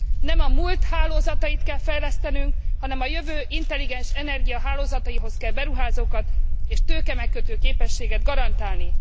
Nem a múlt hálózatait kell fejlesztenünk, hanem a jövő intelligens energiahálózataihoz kell beruházókat és tőkemegkötő képességet garantálni.